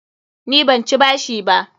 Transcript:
Ni ban ci bashi ba.